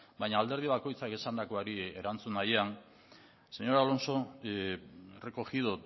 baina alderdi bakoitzak esandakoari erantzun nahian señor alonso he recogido